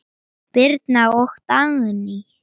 Birna og Dagný.